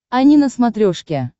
ани на смотрешке